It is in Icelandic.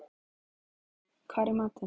Hólmkell, hvað er í matinn?